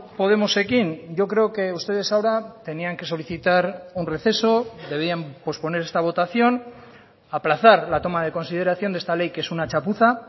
podemosekin yo creo que ustedes ahora tenían que solicitar un receso debían posponer esta votación aplazar la toma de consideración de esta ley que es una chapuza